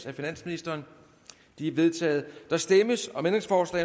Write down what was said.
af finansministeren de er vedtaget der stemmes